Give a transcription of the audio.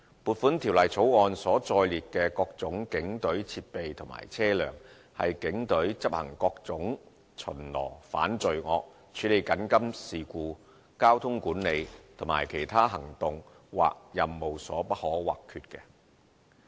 撥款條例草案所載列的各種警隊設備和車輛，是警隊執行各種巡邏、反罪惡、處理緊急事故、交通管理和其他行動或任務所不可或缺的。